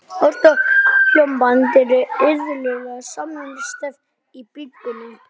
Ást og hjónaband eru iðulega samofin stef í Biblíunni.